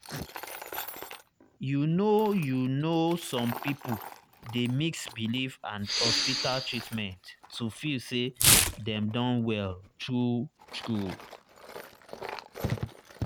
you know you know some people dey mix belief and hospital treatment to feel say dem don well true true.